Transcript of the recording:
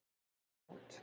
Ég vann það mót.